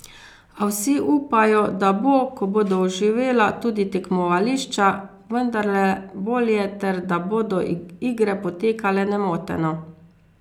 A vsi upajo, da bo, ko bodo oživela tudi tekmovališča, vendarle bolje ter da bodo igre potekale nemoteno.